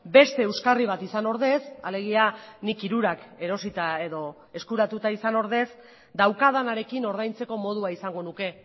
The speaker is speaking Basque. beste euskarri bat izan ordez alegia nik hirurak erosita edo eskuratuta izan ordez daukadanarekin ordaintzeko modua izango nuke